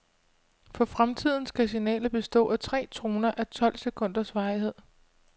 For fremtiden skal signalet bestå af tre toner a tolv sekunders varighed.